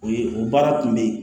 O ye o baara kun bɛ ye